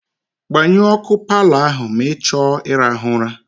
Gbanyụọ ọkụ paalọ ahụ ma ị chọọ ịrahụ ụra.